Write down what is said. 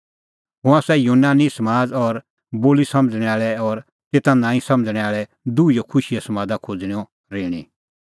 हुंह आसा यूनानी समाज़ और बोली समझ़णैं आल़ै और तेता नांईं समझ़णैं आल़ै दुहीओ खुशीए समादा खोज़णेंओ ऋणी